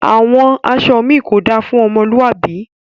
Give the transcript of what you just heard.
Awọn aṣọ mi kò dá fún ọmọlúàbí